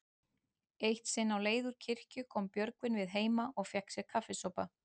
Eitt sinn á leið úr kirkju kom Björgvin við heima og fékk sér kaffisopa.